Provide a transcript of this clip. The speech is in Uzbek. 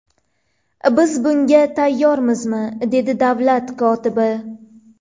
Biz bunga tayyormizmi?” dedi davlat kotibi.